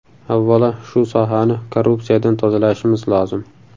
Avvalo, shu sohani korrupsiyadan tozalashimiz lozim.